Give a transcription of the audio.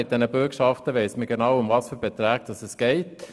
Bei den Bürgschaften weiss man, um welche konkreten Beträge es geht.